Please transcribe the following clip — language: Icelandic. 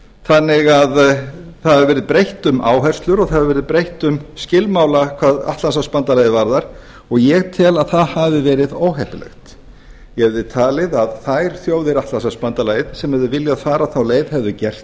þannig að það hefur verið breytt um áherslur og það hefur verið breytt um skilmála hvað atlantshafsbandalagið varðar og ég tel að að það hafi verið óheppilegt ég hefði talið að þær þjóðir atlantshafsbandalagsins sem hefðu viljað fara þá leið hefðu gert